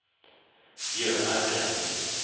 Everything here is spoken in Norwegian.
Bjørnar Brenden